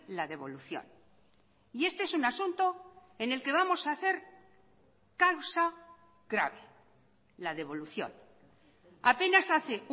la devolución y este es un asunto en el que vamos a hacer causa grave la devolución apenas hace